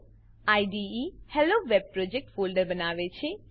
IDE HelloWeb project folder બનાવે છે